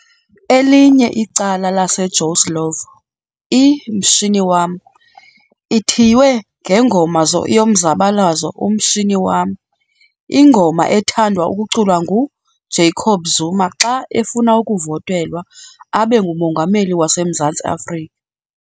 Elinye icala lase Joe Slovo, I Mshini wam, ithiywe ngengoma yomzabalazo 'Umshini wami', ingoma ethandwa ukuculwa ngu Jacob Zuma xa efuna ukuVotelwa abenguMongameli wase Mzansi Africa.